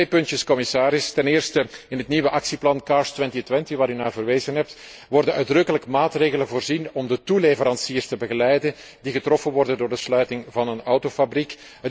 Nog twee puntjes, commissaris, ten eerste wordt in het nieuwe actieplan CARS 2020, waar u naar verwezen hebt, uitdrukkelijk in maatregelen voorzien om de toeleveranciers te begeleiden die getroffen worden door de sluiting van een autofabriek.